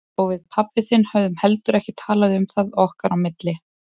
Og við pabbi þinn höfum heldur ekki talað um það okkar á milli.